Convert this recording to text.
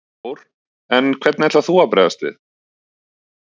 Þór: En hvernig ætlar þú að bregðast við?